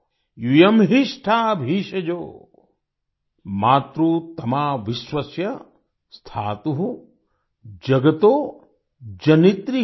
यूयं हिष्ठा भिषजो मातृतमा विश्वस्य स्थातु जगतो जनित्री